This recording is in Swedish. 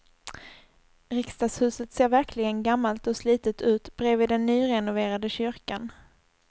Riksdagshuset ser verkligen gammalt och slitet ut bredvid den nyrenoverade kyrkan.